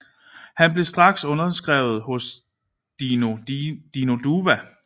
Han blev straks underskrevet hos Dino Duva